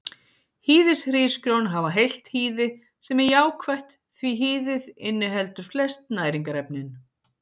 Hýðishrísgrjón hafa heilt hýði sem er jákvætt því hýðið inniheldur flest næringarefnin.